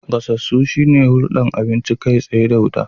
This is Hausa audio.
Gasasu shine hulɗar abinci kai tsaye da wuta.